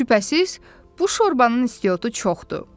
Şübhəsiz, bu şorbanın istiotu çoxdur.